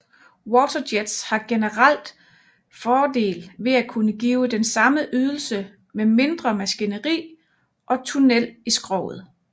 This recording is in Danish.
Waterjets har generelt fordel ved at kunne give den samme ydelse med mindre maskineri og tunnel i skroget